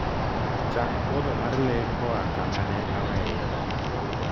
chak puodho mar lee koa kama ne aweye